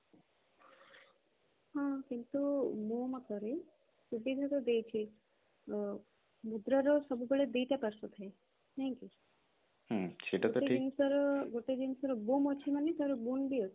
ହଁ କିନ୍ତୁ ମୋ ମତରେ ଜିନିଷ ଦେଇଛି ମୁଦ୍ରା ର ସବୁବେଳେ ଦିଟା ପାର୍ଶ୍ଵ ଥାଏ ନାଇଁ କି ଗୋଟେ ଜିନିଷର ଅଛି ମାନେ ତାର ବି ଅଛି